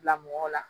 Bila mɔgɔw la